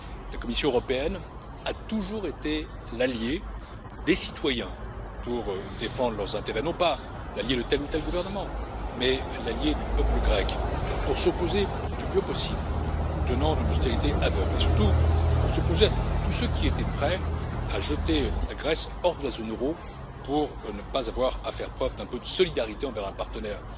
La Commission européenne a toujours été l'alliée des citoyens pour défendre leurs intérêts. Non pas l'alliée de tel ou tel gouvernement, mais l'alliée du peuple grec pour s'opposer, du mieux possible, aux tenants d'une austérité aveugle, et surtout pour s'opposer à tous ceux qui étaient prêts à jeter la Grèce hors de la zone euro pour ne pas avoir à faire preuve d'un peu de solidarité envers un partenaire.